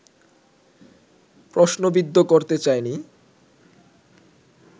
প্রশ্নবিদ্ধ করতে চাইনি